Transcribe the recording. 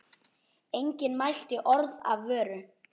Enginn mælti orð af vörum.